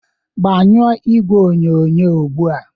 gbanyụọ igwe onyonyo ugbu a.!